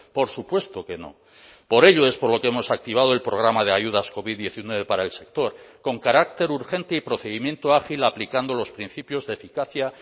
por supuesto que no por ello es por lo que hemos activado el programa de ayudas covid diecinueve para el sector con carácter urgente y procedimiento ágil aplicando los principios de eficacia